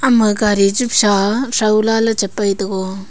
ema gaari jip sa saw lah ley tepai tego.